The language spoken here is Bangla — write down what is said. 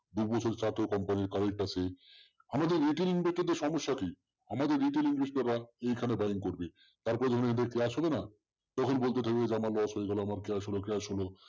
company আমাদের সমস্যা কি আমাদের retail invest এখানে buying করবে তারপর বলবে এই যে clash হলো না তখন বলতো যে আমার loss হয়ে গেল clash হল clash হল